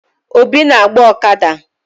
Obi na-agba ọkada.